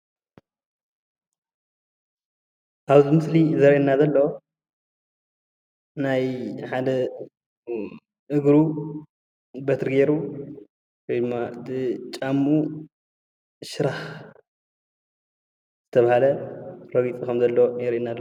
ኣብ እዚ ምስሊ ዘርእየና ዘሎ ናይ ሓደ እግሩ በትሪ ገይሩ ወይ ድማ ብጫምኡ ሽራክ ዝተባሃለ ረጊፁ ከም ዘሎ የርእየና ኣሎ፡፡